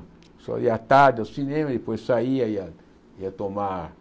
A pessoa ia à tarde ao cinema, e depois saía, ia ia tomar,